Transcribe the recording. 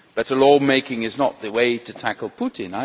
better law-making is not the way to tackle Putin.